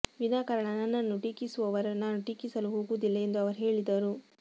ವಿನಾಕಾರಣ ನನ್ನನ್ನು ಟೀಕಿಸುವವರನ್ನು ನಾನು ಟೀಕಿಸಲು ಹೋಗುವುದಿಲ್ಲ ಎಂದು ಅವರು ಹೇಳಿದರು